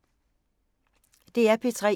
DR P3